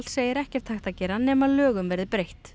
segir ekkert hægt að gera nema lögum verði breytt